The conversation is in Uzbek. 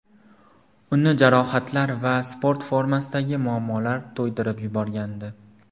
Uni jarohatlar va sport formasidagi muammolar to‘ydirib yuborgandi.